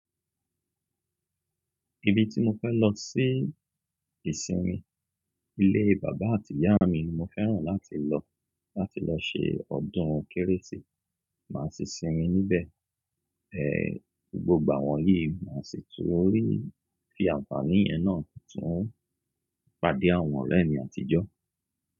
Ibi tí mo fẹ́ lọ sí ìsinmi, ilé bàbá àti ìyá mi ni mo fẹ́ràn láti lọ, láti lọ ṣe ọdún Kérésì. Màá sì sinmi níbẹ̀ gbogbo àwọn yìí, máa sì tún rí fi àǹfààní yẹn náà, tún pàdé àwọn ọ̀rẹ́ mi àtijọ́.